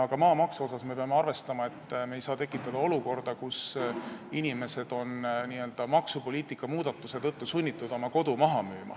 Ka maamaksu puhul me peame arvestama, et me ei saa tekitada olukorda, kus inimesed oleksid maksupoliitika muudatuse tõttu sunnitud oma kodu maha müüma.